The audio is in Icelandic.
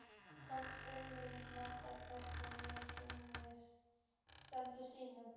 Hvorugt okkar man hvenær við snertumst síðast.